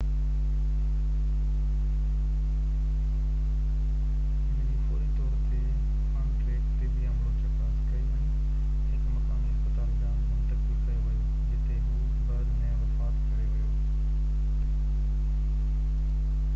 هن جي فوري طور تي آن-ٽريڪ طبي عملو چڪاس ڪئي ۽ هڪ مقامي اسپتال ڏانهن منتقل ڪيو ويو جتي هو بعد ۾ وفات ڪري ويو